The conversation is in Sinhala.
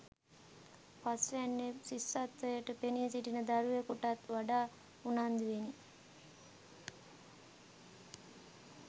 පස්වැන්නේ ශිෂ්‍යත්වයට පෙනී සිටින දරුවකුටත් වඩා උනන්දුවෙනි